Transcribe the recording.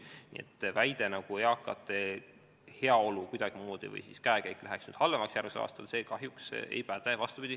Nii et väide, nagu eakate käekäik läheks järgmisel aastal halvemaks, kahjuks ei päde.